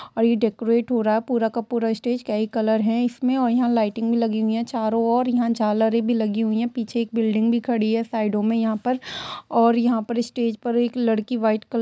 और ये डेकोरेट हो रहा है पूरा का पूरा स्टेज क्या ही कलर है इस में और यहाँ लाइटिंग भी लगी हुई है चारों और यहाँ झालरे भी लगी हुई है पीछे एक बिल्डिंग भी खड़ी है साईडो में यहाँ पर और यहाँ स्टेज पर एक लड़की व्हाइट कलर --